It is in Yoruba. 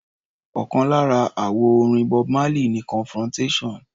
Ọ̀kan lára àwọn àwo-orin Bob Marley ni Confrontation.